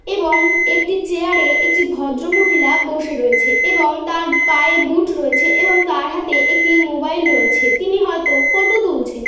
এবং একটি চেয়ারে একটি ভদ্রমহিলা বসে রয়েছে এবং তার পায়ের বুট রয়েছে এবং তার হাতে একটি মোবাইল রয়েছে তিনি হয়তো ফটো তুলছেন ।